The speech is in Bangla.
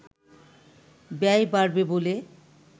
ব্যয় বাড়বে বলে